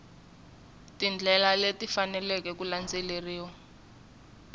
tindlela leti faneleke ku landzeriwa